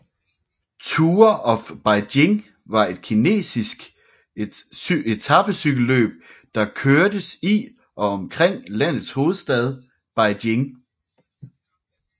Tour of Beijing var et kinesiske etapecykelløb der kørtes i og omkring landets hovedstad Beijing